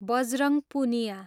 Bajrang Punia